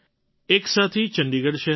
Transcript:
એક સાથી ચંડીગઢ શહેરના છે